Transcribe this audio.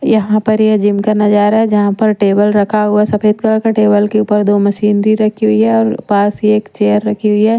यहां पर यह जिम का नजारा है यहां पर टेबल रखा हुआ सफेद कलर का टेबल के ऊपर दो मशीन दे रखी हुई है और पास ही एक चेयर रखी हुई है।